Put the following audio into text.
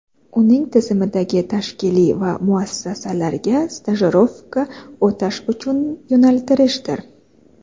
uning tizimidagi tashkilot va muassasalarga stajirovka o‘tash uchun yo‘naltirishdir.